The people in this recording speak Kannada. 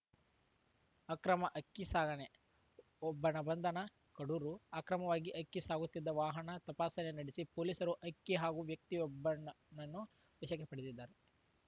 ಅಕ್ರಮ ಅಕ್ಕಿ ಸಾಗಣೆ ಒಬ್ಬನ ಬಂಧನ ಕಡೂರು ಅಕ್ರಮವಾಗಿ ಅಕ್ಕಿ ಸಾಗುತ್ತಿದ್ದ ವಾಹನ ತಪಾಸಣೆ ನಡೆಸಿ ಪೊಲೀಸರು ಅಕ್ಕಿ ಹಾಗೂ ವ್ಯಕ್ತಿ ಯೊಬ್ಬನ ನ್ನು ವಶಕ್ಕೆ ಪಡೆದಿದ್ದಾರೆ